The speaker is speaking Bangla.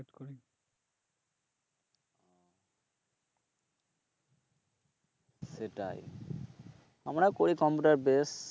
সেটাই, আমরাও করি কম্পিউটার বেস